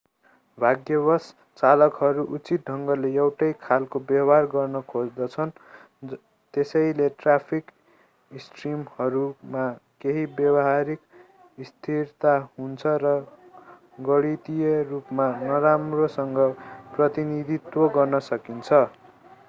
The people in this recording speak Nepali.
भाग्यवश चालकहरू उचित ढंगले एउटै खालको् व्यवहार गर्न खोज्दछन् यसैले ट्राफिक स्ट्रिमहरूमा केही व्यावहारिक स्थिरता हुन्छ र गणितिय रूपमा नराम्रोसँग प्रतिनिधित्व गर्न सकिन्छ